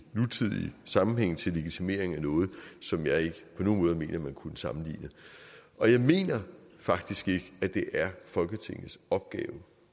nutidig sammenhæng til legitimering af noget som jeg ikke på nogen måde mener man kunne sammenligne og jeg mener faktisk ikke at det er folketingets opgave